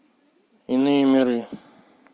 иные миры